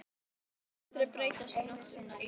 Þú skalt aldrei berjast við náttúruna Ísbjörg.